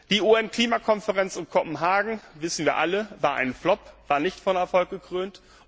Die UN Klimakonferenz in Kopenhagen das wissen wir alle war ein Flop, sie war nicht von Erfolg gekrönt.